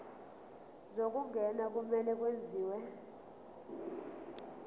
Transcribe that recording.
zokungena kumele kwenziwe